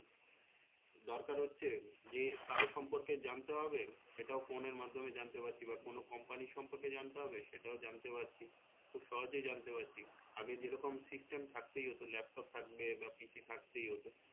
দরকার হচ্ছে যে কারোর সম্পর্কে জানতে হবে সেটাও phone এর মাধ্যমে জানতে পারছি বা কোনো company র সম্পর্কে জানতে হবে সেটাও জানতে পারছি খুব সহজে জানতে পারছি আগে যেরকম system থাকতেই হতো laptop থাকবে বা PC থাকতেই হতো